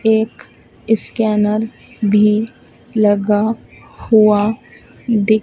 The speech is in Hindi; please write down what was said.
एक ईस्कैनर भी लगा हुआ दि--